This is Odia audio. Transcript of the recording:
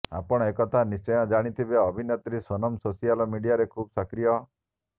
ଆପଣ ଏକଥା ନିଶ୍ଚୟ ଜାଣିଥିବେ ଅଭିନେତ୍ରୀ ସୋନମ ସୋସିଆଲ୍ ମିଡିଆରେ ଖୁବ୍ ସକ୍ରିୟ